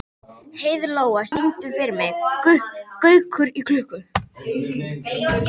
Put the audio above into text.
Heiðlóa, syngdu fyrir mig „Gaukur í klukku“.